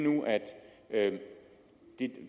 at